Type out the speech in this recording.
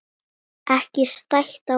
Ekki stætt á öðru.